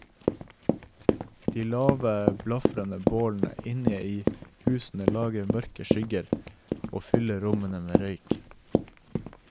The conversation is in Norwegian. De lave, blafrende bålene inne i husene lager mørke skygger, og fyller rommene med røyk.